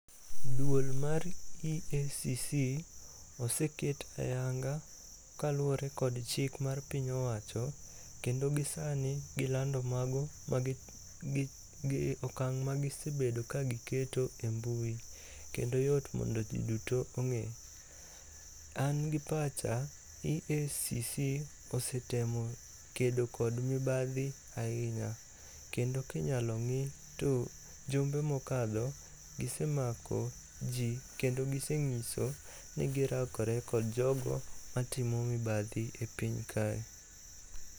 Duol mar EACC oseket ayanga kaluwore kod chik mar piny owacho kendo gisani gilando okang' magisebedo kagiketo e mbui kendo yot mondo ji duto ong'e. An gi pacha, EACC osetemo kedo kod mibadhi ahinya kendo kinyalo ng'i to jumbe mokadho gisemako ji kendo giseng'iso ni girakore kod jogo matimo mibadhi e piny kae.